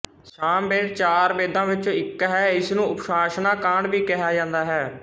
ਸਾਮਵੇਦ ਚਾਰ ਵੇਦਾਂ ਵਿਚੋਂ ਇੱਕ ਹੈ ਇਸਨੂੰ ਉਪਾਸਨਾ ਕਾਂਡ ਵੀ ਕਿਹਾ ਜਾਂਦਾ ਹੈ